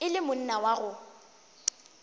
e le monna wa go